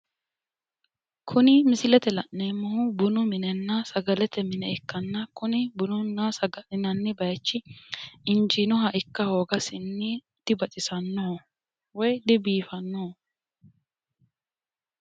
kuni misilete la'neemmohu bununna sagalete bayiichi injiinoha ikka hoogasinni dibaxisannoho woyi dibiifannoho.